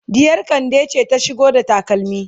ɗiyar kande ce ta shigo da takalmi